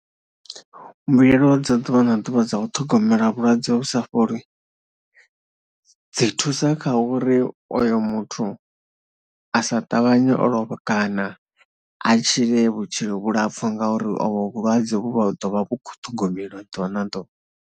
Mbuyelo dza ḓuvha na ḓuvha dza u ṱhogomela vhulwadze vhu sa fholi dzi thusa kha uri oyo muthu a sa ṱavhanye o lovha kana a tshile vhutshilo vhulapfhu ngauri ovho vhulwadze vhu vha ḓo vha vhu khou ṱhogomelwa ḓuvha na ḓuvha.